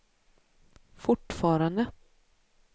fortfarande